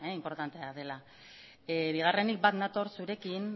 inportantea dela bigarrenik bat nator zurekin